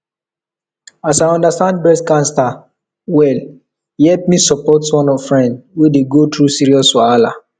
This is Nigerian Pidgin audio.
as i understand breast cancer well e help me support one friend wey dey go through serious wahala